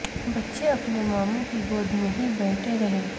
بچے اپنے ماموں کی گود میں ہی بیٹھے رہے